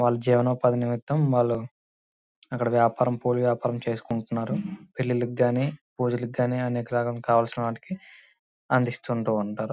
వాళ్లు జీవనోపాధి నిమిత్తము వాళ్ళు అక్కడ వ్యాపారం పూల వ్యాపారం చేసుకుంటారు. పెళ్లిళ్లకు గాని పూజలు కానీ అనేక రకములైన వాటికి కావలసినవి అందిస్తూ ఉంటారు.